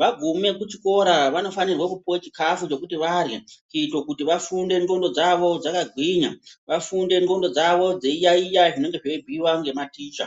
vagume kuchikora vanofanirwa kupuwa chikafu chekuti vahya kuitere vafunde ndwondo dzavo dzaka gwinya vafunde ndwondo dzavo dzeiyayiya zvenge zveibhuiwe ngema ticha.